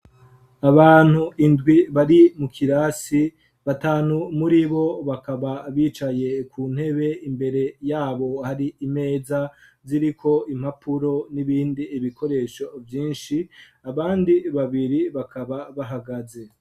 Abantu indwi bari mu kirasi, batanu muri bo bakaba bicaye ku ntebe; imbere yabo hari imeza ziriko impapuro n'ibindi ibikoresho vyinshi, abandi babiri bakaba bahagaze.